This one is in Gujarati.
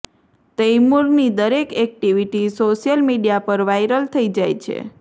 તૈમુરની દરેક એક્ટિવિટી સોશિયલ મીડિયા પર વાઈરલ થઈ જાય છે